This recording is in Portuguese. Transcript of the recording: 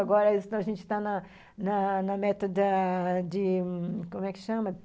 Agora a gente está na na na metade de, como é que chama?